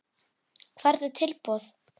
Hvernig tilboð?